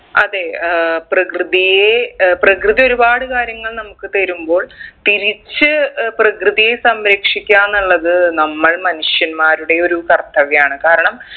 അതെ ഏർ പ്രകൃതിയെ ഏർ പ്രകൃതി ഒരുപാട് കാര്യങ്ങൾ നമ്മുക്ക് തരുമ്പോൾ തിരിച്ച് ഏർ പ്രകൃതിയെ സംരക്ഷിക്കാന്നുള്ളത് നമ്മൾ മനുഷ്യന്മാരുടെ ഒരു കർത്തവ്യാണ് കാരണം